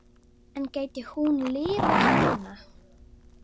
En gæti hún lifað svona?